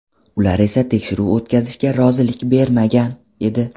Ular esa tekshiruv o‘tkazishga rozilik bermagan edi.